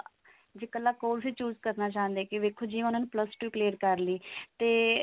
ਜੇ ਕੱਲਾ course ਹੀ choose ਕਰਨਾ ਚਾਹੁੰਦੇ ਨੇ ਵੇਖੋ ਜੀ ਉਹਨਾਂ ਨੇ plus two clear ਕਰ ਲਈ ਤੇ